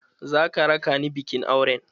Za ka raka ni bikin auren?